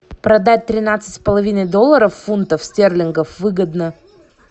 продать тринадцать с половиной долларов фунтов стерлингов выгодно